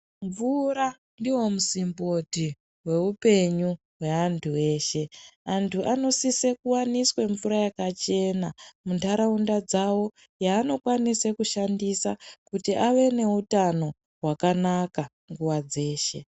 Mvura ndivo musimboti veupenyu hweantu eshe. Vantu vanosise kuvanise mvura yakachena mundaraunda dzavo yaanokwanise kushandisa kuti ave neutano hwakanaka nguva dzeshe.